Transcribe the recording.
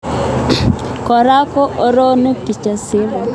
Kora ko oronu Kijasiri